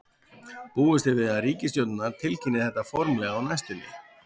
Búist er við að ríkisstjórnirnar tilkynni þetta formlega á næstunni.